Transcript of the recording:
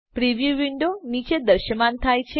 preview window નીચે દ્રશ્યમાન થાય છે